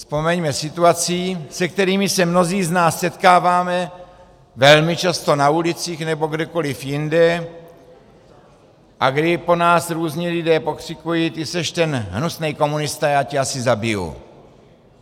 Vzpomeňme situace, se kterými se mnozí z nás setkáváme velmi často na ulicích nebo kdekoliv jinde a kdy po nás různí lidé pokřikují: Ty seš ten hnusnej komunista, já tě asi zabiju!